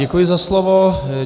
Děkuji za slovo.